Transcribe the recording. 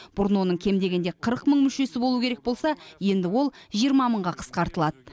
бұрын оның кем дегенде қырық мың мүшесі болу керек болса енді ол жиырма мыңға қысқартылады